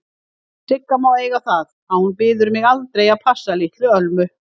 Sigga má eiga það að hún biður mig aldrei að passa litlu Ölmu.